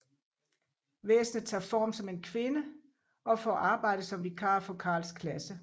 Væsenet tager form som en kvinde og får arbejde som vikar for Carls klasse